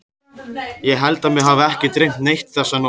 Ég held að mig hafi ekki dreymt neitt þessa nótt.